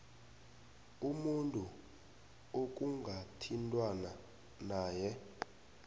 umuntu ekungathintwana naye